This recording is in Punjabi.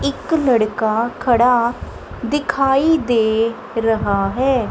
ਇੱਕ ਲੜਕਾ ਖੜਾ ਦਿਖਾਈ ਦੇ ਰਿਹਾ ਹੈ।